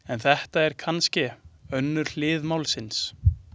En þetta er kannske önnur hlið málsins.